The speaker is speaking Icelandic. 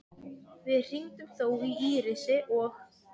Við hringdum þó í Írisi og